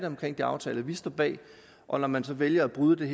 omkring de aftaler vi står bag og når man så vælger at bryde den